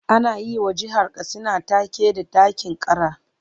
Ana yi wa jihar Katsina take da 'ɗakin kara'.